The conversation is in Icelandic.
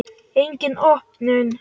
Engin opnun.